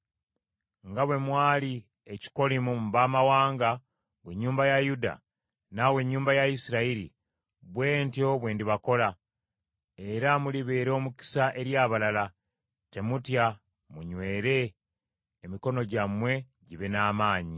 Nga bwe mwali ekikolimo mu baamawanga, ggwe ennyumba ya Yuda, naawe ennyumba ya Isirayiri, bwe ntyo bwe ndibalokola, era mulibeera omukisa eri abalala. Temutya, munywere emikono gyammwe gibe n’amaanyi.”